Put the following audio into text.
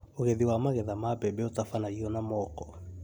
ũgethi wa magetha ma mbembe ũtabanagio na moko